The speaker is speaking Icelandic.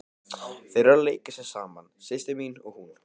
Þær eru að leika sér saman, systir mín og hún.